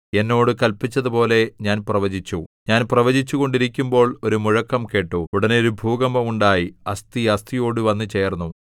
എന്നോട് കല്പിച്ചതുപോലെ ഞാൻ പ്രവചിച്ചു ഞാൻ പ്രവചിച്ചുകൊണ്ടിരിക്കുമ്പോൾ ഒരു മുഴക്കം കേട്ടു ഉടനെ ഒരു ഭൂകമ്പം ഉണ്ടായി അസ്ഥി അസ്ഥിയോടു വന്നുചേർന്നു